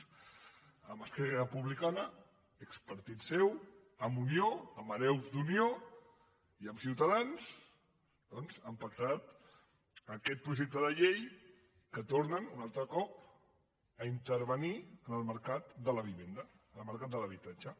amb esquerra republicana expartit seu amb unió amb hereus d’unió i amb ciutadans doncs han pactat aquest projecte de llei amb què tornen un altre cop a intervenir en el mercat de la vivenda el mercat de l’habitatge